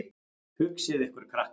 Hugsið ykkur, krakkar.